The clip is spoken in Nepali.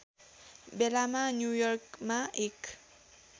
बेलामा न्युयर्कमा एक